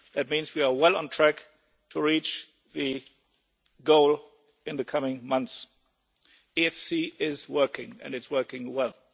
That means we are well on track to reach the goal in the coming months. The EFSI is working, and it's working well.